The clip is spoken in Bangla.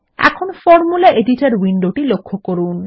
এখন ফরমুলা এডিটর উইন্ডোটি লক্ষ্য করুন